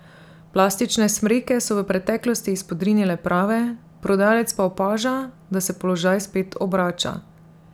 Plastične smreke so v preteklosti izpodrinile prave, prodajalec pa opaža, da se položaj spet obrača.